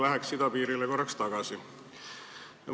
Läheks idapiirile korraks tagasi.